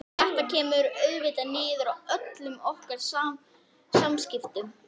Drasl! og nú svelgdist Helgu á kaffinu.